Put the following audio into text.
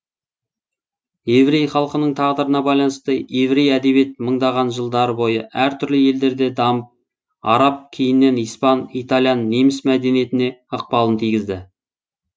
еврей халқының тағдырына байланысты еврей әдебиет мыңдаған жылдары бойы әр түрлі елдерде дамып араб кейіннен испан итальян неміс мәдениетіне ықпалын тигізді